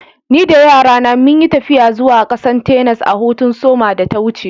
Ni da yara na mun yi taffiya zuwa kasan Texas a'hutun soma da ta wuce.